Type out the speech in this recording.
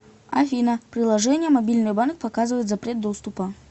афина приложение мобильный банк показывает запрет доступа